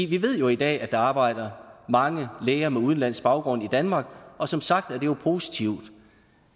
vi ved jo i dag at der arbejder mange læger med udenlandsk baggrund i danmark og som sagt er det jo positivt